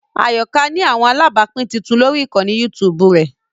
Ayoka ni awọn alabapin tuntun lori ikanni YouTube rẹ